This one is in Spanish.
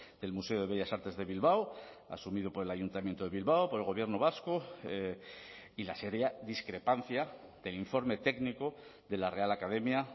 del museo de bellas artes de bilbao asumido por el ayuntamiento de bilbao por el gobierno vasco y la seria discrepancia del informe técnico de la real academia